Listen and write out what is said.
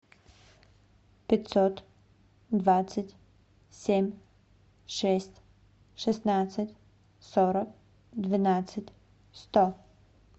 пятьсот двадцать семь шесть шестнадцать сорок двенадцать сто